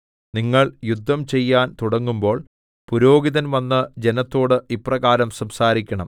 നിങ്ങൾ യുദ്ധം ചെയ്യാൻ തുടങ്ങുമ്പോൾ പുരോഹിതൻ വന്ന് ജനത്തോട് ഇപ്രകാരം സംസാരിക്കണം